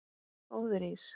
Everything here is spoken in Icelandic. Góður ís?